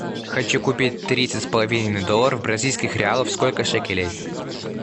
хочу купить тридцать с половиной долларов бразильских реалов сколько шекелей